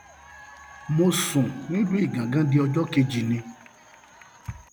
mo sùn nílùú igangan di ọjọ kejì ni